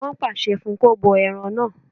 Wọ́n pàṣẹ fún un kó bọ ẹran náà